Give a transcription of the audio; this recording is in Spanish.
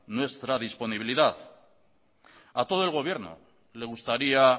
nuestra disponibilidad a todo el gobierno le gustaría